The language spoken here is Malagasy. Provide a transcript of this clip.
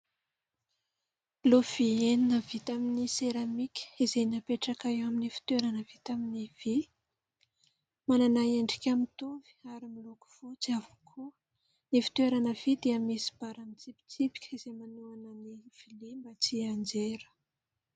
Lovia enina vita amin'ny seramika izay napetraka eo amin'ny fitoerana vita amin'ny vy. Manana endrika mitovy ary miloko fotsy avokoa. Ny fitoerana vy dia misy bara mitsipitsipika izay manohana ny vilia tsy nianjera.